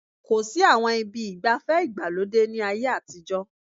Kò sí àwọn ibi ìgbafẹ́ ìgbàlódé ní ayé àtijọ́